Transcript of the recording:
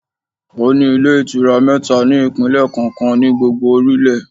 Ó ní Ilé Ìtura mẹ́ta ní ìpínlẹ̀ kọ̀ọ̀kan ní gbogbo orílẹ̀